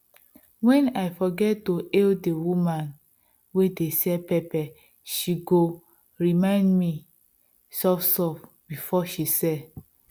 wen i forget to hail the woman wey dey sell pepper she go remind me softsoft before she sell